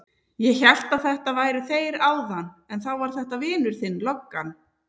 Ég hélt að þetta væru þeir áðan en þá var þetta vinur þinn löggan.